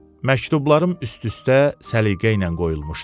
Məktublarım üst-üstə səliqə ilə qoyulmuşdu.